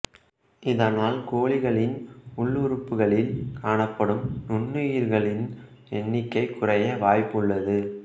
இதனால் கோழிகளின் உள் உறுப்புகளில் காணப்படும் நுண்ணுயிரிகளின் எண்ணிக்கை குறைய வாய்ப்பு உள்ளது